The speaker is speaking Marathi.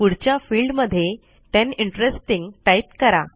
पुढच्या फिल्ड मध्ये टेन इंटरेस्टिंग टाईप करा